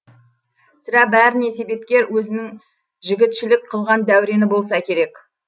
сірә бәріне себепкер өзінің жігітшілік қылған дәурені болса керек